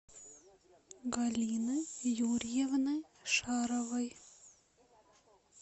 галины юрьевны шаровой